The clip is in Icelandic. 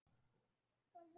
Ég verð að vera ein.